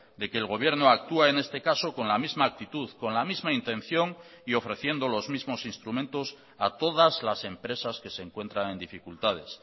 de que el gobierno actúa en este caso con la misma actitud con la misma intención y ofreciendo los mismos instrumentos a todas las empresas que se encuentran en dificultades